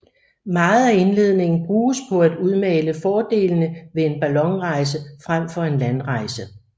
Meget af indledningen bruges på at udmale fordelene ved en ballonrejse frem for en landrejse